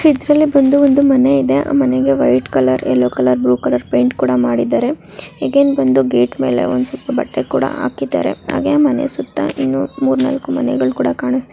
ಇದ್ರಲ್ಲಿ ಬಂದು ಮನೆ ಇದೆ ಆ ಮನೆಗೆ white colour yellow colour blue colour paint ಕೂಡ ಮಾಡಿದ್ದಾರೆ. ಅಗೈನ್ ಬಂದು ಗೇಟ್ ಮೇಲೆ ಒಂದ್ ಸುತ್ ಬಟ್ಟೆ ಕೂಡಾ ಹಾಕಿದ್ದಾರೆ. ಹಾಗೆ ಮನೆ ಸುತ್ತಾ ಇನ್ನು ಮೂರ್ ನಾಲ್ಕ್ ಮನೆಗಳ್ ಕೂಡಾ ಕಾಣಸ್ತಿ --